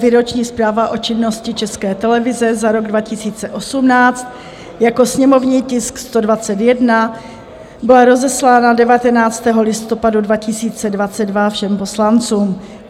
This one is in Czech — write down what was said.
Výroční zpráva o činnosti České televize za rok 2018 jako sněmovní tisk 121 byla rozeslána 19. listopadu 2022 všem poslancům.